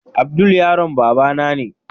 Abdul yaron babana ne.